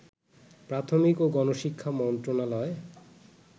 প্রাথমিক ও গণশিক্ষা মন্ত্রণালয়